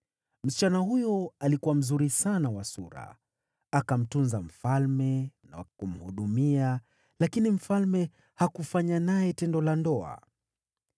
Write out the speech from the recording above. Msichana huyo alikuwa mzuri sana wa sura, akamtunza mfalme na kumhudumia, lakini mfalme hakufanya naye tendo la ndoa.